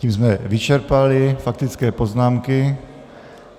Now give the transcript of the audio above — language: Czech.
Tím jsme vyčerpali faktické poznámky.